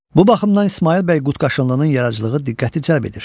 Bu baxımdan İsmayıl bəy Qutqaşınlının yaradıcılığı diqqəti cəlb edir.